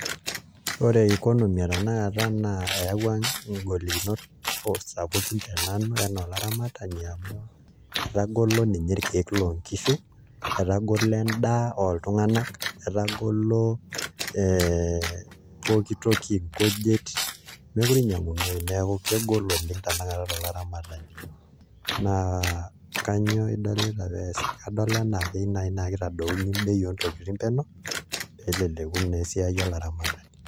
Ore economy e tanakata naa eyaua nglikinot sapukin te nanu enaa olaramatani amu etagolo ninye irkeek loonkishu, etagolo endaa oltung'anak etagolo ee pooki toki nkujit meekure inyiang'unoyu neeku kegol oleng' tanakata to laramatani naa kainyioo idolita pee eesi, kadol enaa ekeyieu naai naa kitadouni bei oontokitin penyo pee eleleku naa esiai olaramatani.